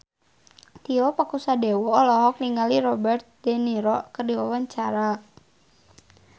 Tio Pakusadewo olohok ningali Robert de Niro keur diwawancara